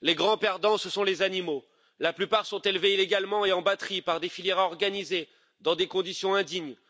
Les grands perdants, ce sont les animaux. La plupart sont élevés illégalement et en batterie par des filières organisées, dans des conditions indignes.